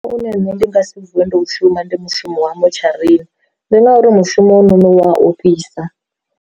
Une nṋe ndi nga si vuwe ndo u shuma ndi mushumo wa motsharini, ndi ngauri mushumo u wa ofhisa.